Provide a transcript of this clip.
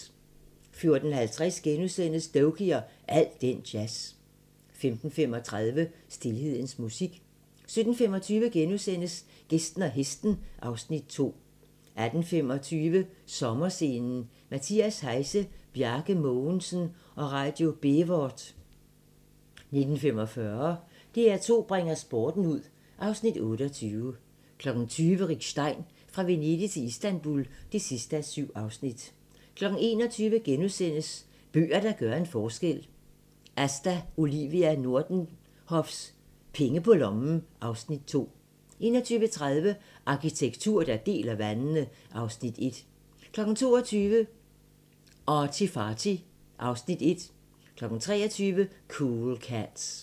14:50: Doky og al den jazz * 15:35: Stilhedens musik 17:25: Gæsten og hesten (Afs. 2)* 18:25: Sommerscenen: Mathias Heise, Bjarke Mogensen & Radio Bévort 19:45: DR2 bringer sporten ud (Afs. 28) 20:00: Rick Stein - Fra Venedig til Istanbul (7:7) 21:00: Bøger, der gør en forskel - Asta Olivia Nordenhofs "Penge på lommen" (Afs. 2) 21:30: Arkitektur, der deler vandene (Afs. 1) 22:00: ArtyFarty (Afs. 1) 23:00: Cool Cats